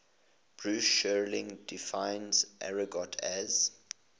bruce sterling defines argot as